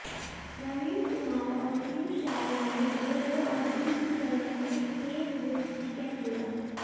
प्रवीण कुमार और पीयूष चावला ने दो दो और डी कुलकर्णी ने एक विकेट लिया